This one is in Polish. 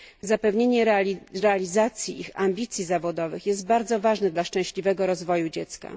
Zapewnienie realizacji ich ambicji zawodowych jest bardzo ważne dla szczęśliwego rozwoju dziecka.